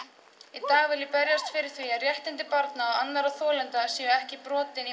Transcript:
í dag vil ég berjast fyrir því að réttindi barna og annarra þolenda séu ekki brotin